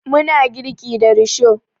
Muna girki da risho